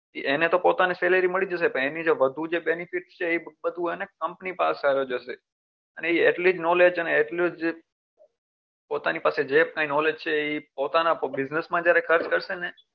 એને તો પોતાની salary છે એ મળી જશે પણ એની જે વધુ benefit છે એ બધું company પાસે એ જશે અને એ એટલી જ knowledge અને એટલું જ પોતાની પાસે જે કઈ knowledge છે પોતાના business માં જ્યારે ખર્ચ કરશે ને